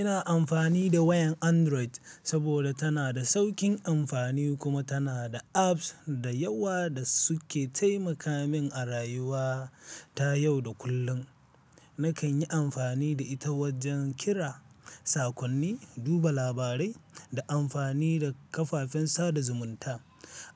Ina amfani da wayan Android saboda tana da sauƙin amfani kuma tana da apps da yawa da suke taimaka min a rayuwa ta yau da kullum. Nakan yi amfani da ita wajen kira, sakonni, duba labarai, da amfani da kafafen sada zumunta.